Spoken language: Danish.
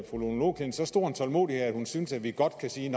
fru lone loklindt så stor tålmodighed at hun synes at vi godt kan sige